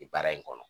Baara in kɔnɔ